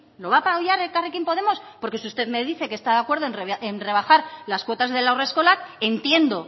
lo va a apoyar elkarrekin podemos porque si usted me dice que está de acuerdo en rebajar las cuotas de haurreskolak entiendo